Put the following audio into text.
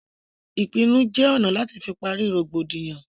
Ìpinnu jẹ ọ̀nà láti fi pari rògbòdìyàn